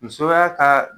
Musoya ka